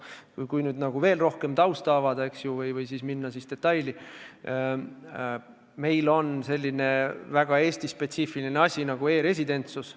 Kui veel rohkem tausta avada või minna detailidesse, siis meil on selline väga Eesti-spetsiifiline asi nagu e-residentsus.